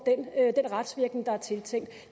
den retsvirkning der er tiltænkt